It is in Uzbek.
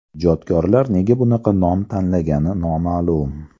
Ijodkorlar nega bunaqa nom tanlagani noma’lum.